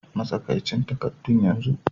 Matsakaicin takaddun yanzu!